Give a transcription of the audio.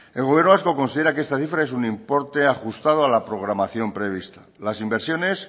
el gobierno vasco considera que esta cifra es un importe ajustado a la programación prevista las inversiones